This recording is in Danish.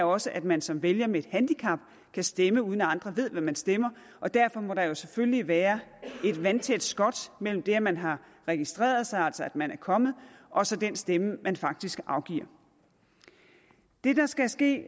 også at man som vælger med et handicap kan stemme uden at andre ved hvad man stemmer og derfor må der selvfølgelig være et vandtæt skot mellem det at man har registreret sig altså at man er kommet og så den stemme man faktisk afgiver det der skal ske